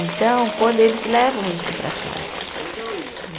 Então, quando eles levam isso para casa, né?